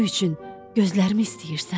gözlərimi istəyirsən?